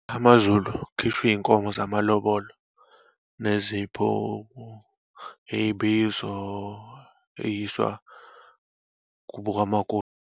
AmaZulu, kukhishwa iyinkomo zamalobolo, nezipho iyibizo, eyiswa kubo kamakoti.